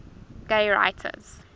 gay writers